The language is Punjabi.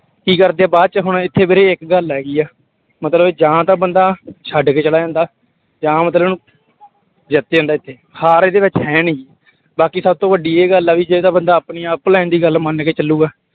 ਕੀ ਕਰਦੇ ਆ ਬਾਅਦ ਚ ਹੁਣ ਇੱਥੇ ਵੀਰੇ ਇੱਕ ਗੱਲ ਹੈਗੀ ਹੈ ਮਤਲਬ ਜਾਂ ਤਾਂ ਬੰਦਾ ਛੱਡ ਕੇ ਚਲਾ ਜਾਂਦਾ ਜਾਂ ਮਤਲਬ ਜਿੱਤ ਜਾਂਦਾ ਇੱਥੇ, ਹਾਰ ਇਹਦੇ ਵਿੱਚ ਹੈ ਨੀ, ਬਾਕੀ ਸਭ ਤੋਂ ਵੱਡੀ ਇਹ ਗੱਲ ਆ ਵੀ ਜੇ ਤਾਂ ਬੰਦਾ ਆਪਣੀ online ਦੀ ਗੱਲ ਮੰਨ ਕੇ ਚੱਲੇਗਾ।